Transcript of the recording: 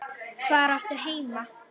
Hvar áttu heima?